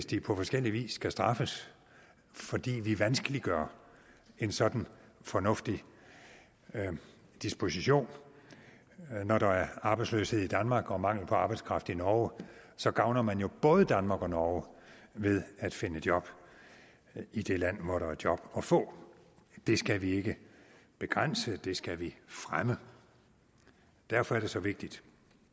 de på forskellig vis skal blive straffet fordi vi vanskeliggør en sådan fornuftig disposition når der er arbejdsløshed i danmark og mangel på arbejdskraft i norge så gavner man jo både danmark og norge ved at man finder et job i det land hvor der er et job at få det skal vi ikke begrænse men det skal vi fremme derfor er det så vigtigt